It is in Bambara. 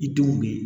I denw be ye